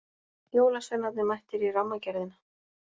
Jólasveinarnir mættir í Rammagerðina